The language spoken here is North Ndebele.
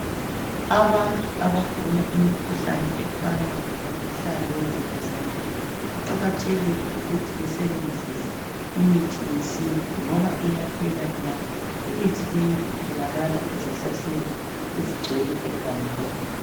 Abantu abagula imkhuhlane efana lo mkhuhlane wemvukuzane kuqakathekile ukuthi basebenzise imithi yesintu ngoba iyaphela nya ,imithi leyi itholakala ezihlahleni ezigcwele egangeni.